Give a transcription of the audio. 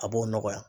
A b'o nɔgɔya